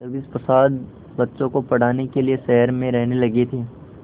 जगदीश प्रसाद बच्चों को पढ़ाने के लिए शहर में रहने लगे थे